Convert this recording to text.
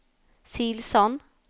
Silsand